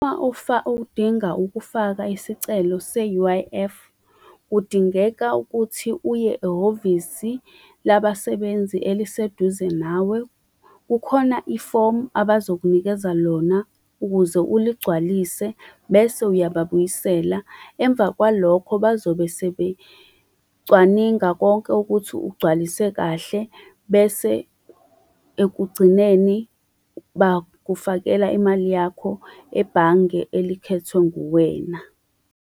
Uma udinga ukufaka isicelo se-U_I_F, kudingeka ukuthi uye ehhovisi labasebenzi eliseduze nawe. Kukhona ifomu abazokunikeza lona ukuze uligcwalise bese uyababuyisela. Emva kwalokho, bazobe sebecwaninga konke ukuthi ugcwalise kahle bese ekugcineni bakufakela imali yakho ebhange elikhethwe nguwena.